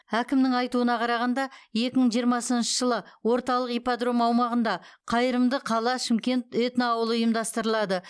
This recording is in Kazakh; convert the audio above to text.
әкімнің айтуына қарағанда екі мың жиырмасыншы жылы орталық ипподром аумағында қайырымды қала шымкент этноауылы ұйымдастырылады